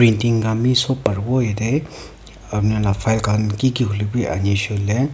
painting dami sob paribo jatte apni laga fild kani kiki hoi lebhi ani sele.